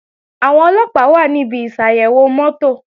Àwọn Ọlọ́pàá wà níbi ìsàyẹ̀wò mọ́tò